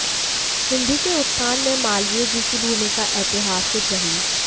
हिन्दी के उत्थान में मालवीय जी की भूमिका ऐतिहासिक रही